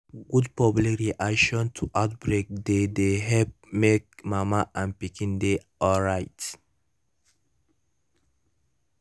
good public reaction to outbreak dey dey help make mama and pikin dey alright